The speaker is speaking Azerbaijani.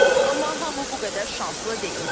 Amma hamı bu qədər şanslı deyildi.